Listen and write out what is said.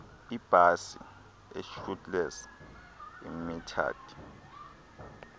iibhasi ishuttles iimetered